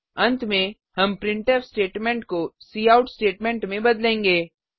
अंत में हम प्रिंटफ स्टेटमेंट को काउट स्टेटमेंट में बदलेंगे